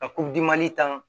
Ka tan